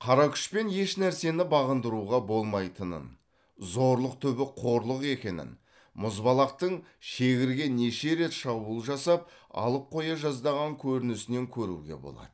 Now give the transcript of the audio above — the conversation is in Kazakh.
қара күшпен ешнәрсені бағындыруға болмайтынын зорлық түбі қорлық екенін мұзбалақтың шегірге неше рет шабуыл жасап алып қоя жаздаған көрінісінен көруге болады